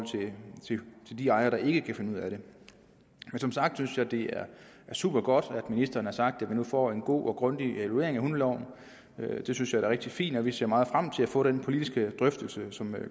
til de ejere der ikke kan finde ud af det som sagt synes jeg det er supergodt at ministeren har sagt at vi nu får en god og grundig evaluering af hundeloven det synes jeg er rigtig fint og vi ser meget frem til at få den politiske drøftelse som